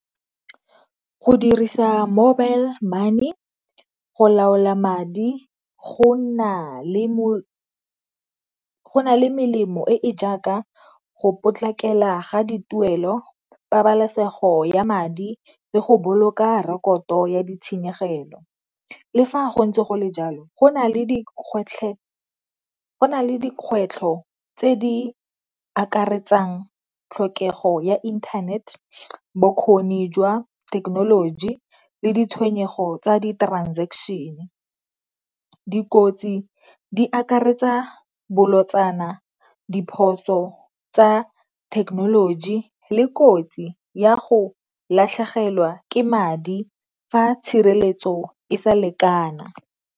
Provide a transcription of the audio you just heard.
Go dirisa mobile money go laola madi go na le, go na le melemo e e jaaka go potlakela ga dituelo, pabalesego ya madi le go boloka rekoto ya ditshenyegelo. Le fa go ntse go le jalo go na le dikgwetlho tse di akaretsang tlhokego ya inthanete, bokgoni jwa thekenoloji le ditshenyego tsa di-transaction. Dikotsi di akaretsa bolotsana, diphoso tsa thekenoloji le kotsi ya go latlhegelwa ke madi fa tshireletso e sa lekana.